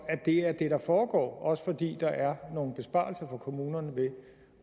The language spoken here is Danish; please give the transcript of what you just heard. at det er det der foregår også fordi der er nogle besparelser for kommunerne ved